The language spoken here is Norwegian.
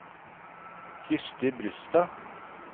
Kristi Brustad